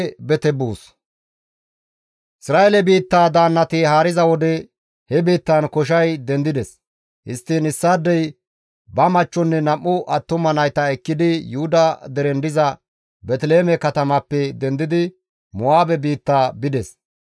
Isra7eele biittaa daannati haariza wode he biittan koshay dendides. Histtiin issaadey ba machchonne nam7u attuma nayta ekkidi Yuhuda deren diza Beeteliheeme katamappe dendidi Mo7aabe biitta bides.